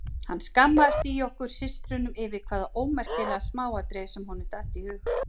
Hann skammaðist í okkur systrunum yfir hvaða ómerkilega smáatriði sem honum datt í hug.